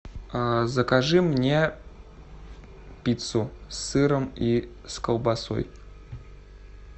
закажи мне пиццу с сыром и колбасой